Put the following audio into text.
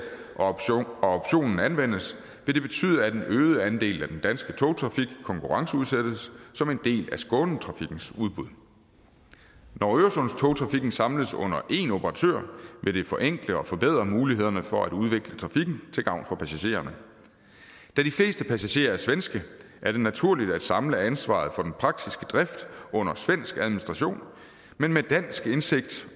og optionen anvendes vil det betyde at en øget andel af den danske togtrafik konkurrenceudsættes som en del af skånetrafikkens udbud når øresundstogtrafikken samles under en operatør vil det forenkle og forbedre mulighederne for at udvikle trafikken til gavn for passagererne da de fleste passagerer er svenske er det naturligt at samle ansvaret for den praktiske drift under svensk administration men med dansk indsigt